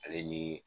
Ale ni